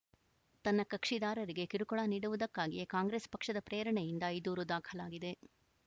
ತನ್ನ ಕಕ್ಷಿದಾರರಿಗೆ ಕಿರುಕುಳ ನೀಡುವುದಕ್ಕಾಗಿಯೇ ಕಾಂಗ್ರೆಸ್‌ ಪಕ್ಷದ ಪ್ರೇರಣೆಯಿಂದ ಈ ದೂರು ದಾಖಲಾಗಿದೆ